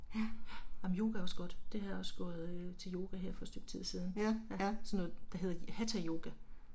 Amen yoga er også godt, det har jeg også gået til yoga her for et stykke tid siden, sådan noget der hedder hatha yoga